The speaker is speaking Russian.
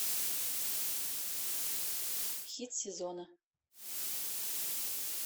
хит сезона